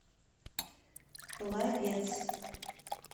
пловец